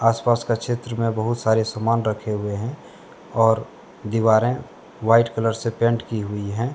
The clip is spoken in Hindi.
आसपास का क्षेत्र में बहुत सारे सामान रखे हुए हैं और दीवारें व्हाइट कलर से पेंट की हुई है।